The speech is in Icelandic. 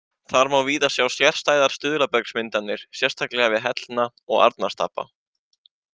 Þar má víða sjá sérstæðar stuðlabergsmyndanir, sérstaklega við Hellna og Arnarstapa.